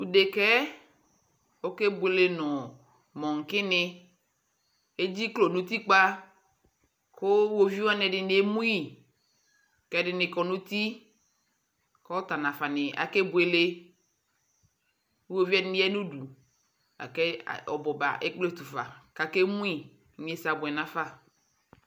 Dekǝ yɛ, ɔkebuele nʋ mɔnkɩnɩ Edziklo nʋ utikpǝ kʋ iɣoviu wanɩ ɛdɩnɩ emu yɩ kʋ ɛdɩnɩ kɔ nʋ uti kʋ ɔta nafanɩ akebuele Iɣoviu wanɩ ya nʋ udu kʋ ake ɔbʋba ekpletu fa kʋ akemu yɩ Inyesɛ abʋɛ nafa